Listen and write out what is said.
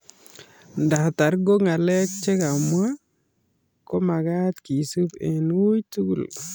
Ndatar ko ng'alek che kamwa ko magat kesup eng' weiy tugul